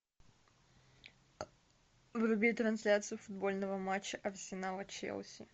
вруби трансляцию футбольного матча арсенала челси